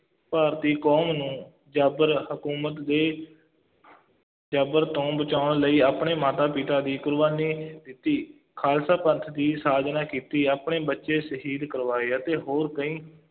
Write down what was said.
ਭਾਰਤੀ ਕੌਮ ਨੂੰ ਜ਼ਾਬਰ ਹਕੂਮਤ ਦੇ ਜ਼ਬਰ ਤੋਂ ਬਚਾਉਣ ਲਈ ਆਪਣੇ ਮਾਤਾ-ਪਿਤਾ ਦੀ ਕੁਰਬਾਨੀ ਦਿੱਤੀ, ਖਾਲਸਾ ਪੰਥ ਦੀ ਸਾਜਨਾ ਕੀਤੀ, ਆਪਣੇ ਬੱਚੇ ਸ਼ਹੀਦ ਕਰਵਾਏ ਅਤੇ ਹੋਰ ਕਈ